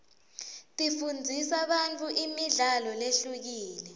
tifundzisa bantfu imidlalo lehlukile